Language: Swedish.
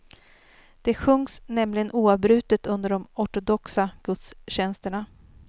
Det sjungs nämligen oavbrutet under de ortodoxa gudstjänsterna.